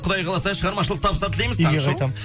құдай қаласа шығармашылық табыстар тілейміз үйге қайтамын